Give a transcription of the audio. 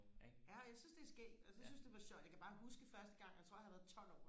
ja jeg synes det er skægt altså jeg synes det var sjovt jeg kan bare huske første gang jeg tror jeg har været tolv år